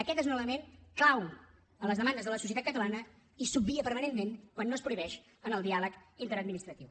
aquest és un element clau en les demandes de la societat catalana i s’obvia permanentment quan es prohibeix en el diàleg interadministratiu